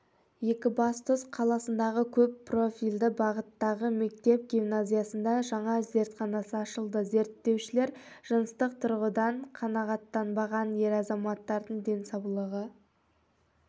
екібастұз қаласындағы көп профильді бағыттағы мектеп-гимназиясында жаңа зертханасы ашылды зерттеушілер жыныстық тұрғыдан қанағаттанбаған ер азаматтардың денсаулығы